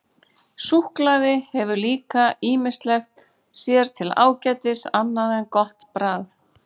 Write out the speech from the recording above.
Súkkulaði hefur líka ýmislegt sér til ágætis annað en gott bragð.